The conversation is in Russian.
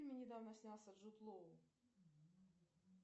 фильме недавно снялся джуд лоу